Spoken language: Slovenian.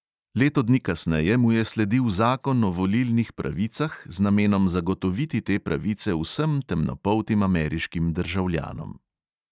Leto dni kasneje mu je sledil zakon o volilnih pravicah z namenom zagotoviti te pravice vsem temnopoltim ameriškim državljanom.